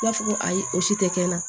I b'a fɔ ko ayi o si tɛ kɛ n na